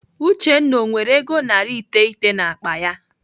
Uchenna ọ nwere ego narị iteghete n'akpa ya?